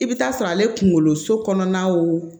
I bɛ taa sɔrɔ ale kunkolo so kɔnɔna wo